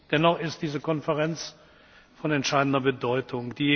Dennoch ist diese Konferenz von entscheidender Bedeutung.